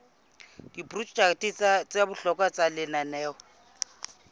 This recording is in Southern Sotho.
diprojeke tsa bohlokwa tsa lenaneo